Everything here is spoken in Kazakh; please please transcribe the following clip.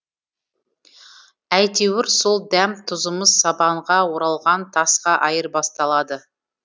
әйтеуір сол дәм тұзымыз сабанға оралған тасқа айырбасталады